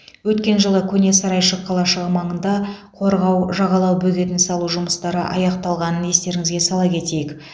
өткен жылы көне сарайшық қалашығы маңында қорғау жағалау бөгетін салу жұмыстары аяқталғанын естеріңізге сала кетейік